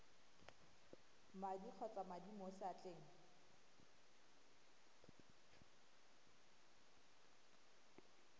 madi kgotsa madi mo seatleng